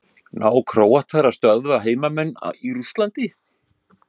Ná Króatar að stöðva heimamenn í Rússlandi?